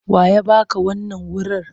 Wa ya ba ka wannan wurir?